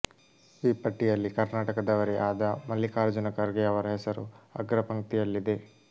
ಈ ಪಟ್ಟಿಯಲ್ಲಿ ಕರ್ನಾಟಕದವರೇ ಆದ ಮಲ್ಲಿಕಾರ್ಜುನ ಖರ್ಗೆ ಅವರ ಹೆಸರು ಅಗ್ರಪಂಕ್ತಿಯಲ್ಲಿದೆ